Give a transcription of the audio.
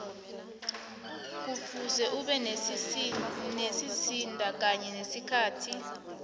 kufuze ube nesizinda kanye nesikhathi